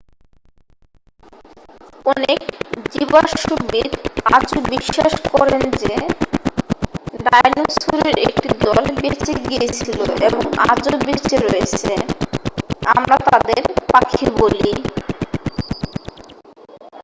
অনেক জীবাশ্মবিদ আজও বিশ্বাস করেন যে ডায়নোসরের একটি দল বেঁচে গিয়েছিলো এবং আজও বেঁচে রয়েছে আমরা তাদের পাখি বলি